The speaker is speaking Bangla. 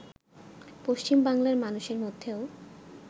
পশ্চিম বাংলার মানুষের মধ্যেও